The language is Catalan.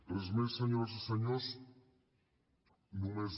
res més senyores i senyors